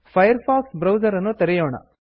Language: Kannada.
ಫೈರ್ ಫಾಕ್ಸ್ ಬ್ರೌಸರ್ ಅನ್ನು ತೆರೆಯೋಣ